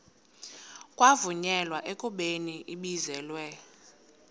kwavunyelwana ekubeni ibizelwe